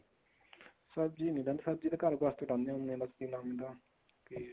ਸਬ੍ਜ਼ੀ ਨੀ ਲਾਈ ਸਬਜੀ ਘਰ ਵਾਸਤੇ ਲਾਉਣੇ ਹੁੰਦੇ ਆਂ ਜੇ ਲਾਈ ਤਾਂ